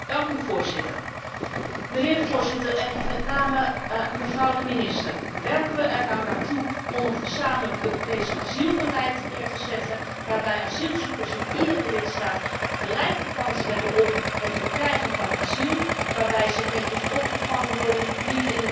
Mijnheer de Voorzitter en met name mevrouw de minister, werken we er nu naartoe om een gezamenlijk Europees asielbeleid neer te zetten, waarbij asielzoekers in iedere lidstaat gelijke kans hebben op het verkrijgen van asiel, waarbij ze netjes opgevangen worden, niet in de gevangenis worden